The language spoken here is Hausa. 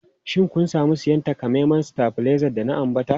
Shin kun sami siyan takamaiman stabilizer da na ambata?